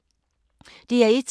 DR1